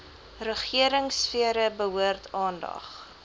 regeringsfere behoort aandag